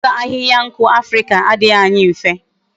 I chota ahihia nku Africa adighi anyi mfe